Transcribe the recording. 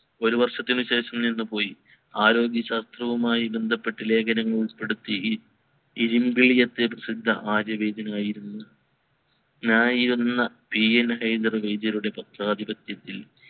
ഒരു വർഷത്തിന് ശേഷം നിന്ന് പോയി ആരോഗ്യ ശാസ്ത്രവുമായി ബന്ധപ്പെട്ട ലേഖനങ്ങൾ ഉൾപ്പെടുത്തി പത്രാധിപത്യത്തിൽ